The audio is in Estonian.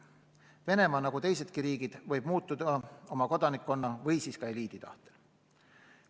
Venemaa, nagu teisedki riigid, võib muutuda oma kodanikkonna või siis ka eliidi tahtel.